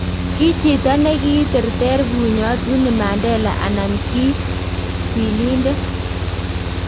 Kii chito nekiterter bunyoot Winnie Mandela anan kii kwilindet?